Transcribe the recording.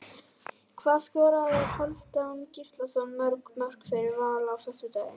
Hvað skoraði Hálfdán Gíslason mörg mörk fyrir Val á föstudaginn?